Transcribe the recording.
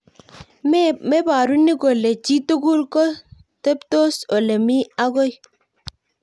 Meporu ni kole chi tugul ko teptos olemii akoi.